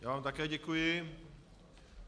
Já vám také děkuji.